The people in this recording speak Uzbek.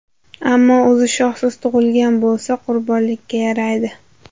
Ammo o‘zi shoxsiz tug‘ilgan bo‘lsa, qurbonlikka yaraydi.